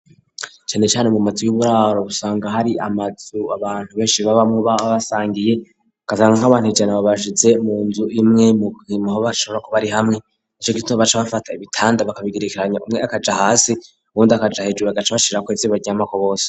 cane cane mu matsi y'uburaro busanga hari amatzu abantu benshi babamu babasangiye akasanga nk'abant ijana babasitse mu nzu imwe mu kimaho basara ko bari hamwe ico gisto baca bafata ibitanda bakabigerekeranya umwe akaja hasi ubundi akaja hejere agaca bashira kueziba ryamako bose